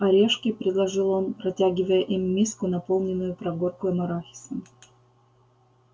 орешки предложил он протягивая им миску наполненную прогорклым арахисом